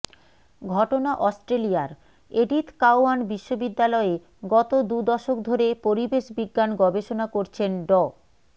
ঘটনা অস্ট্রেলিয়ার Edith Cowan বিশ্ববিদ্যালয়ে গত দু দশক ধরে পরিবেশ বিজ্ঞান গবেষণা করছেন ড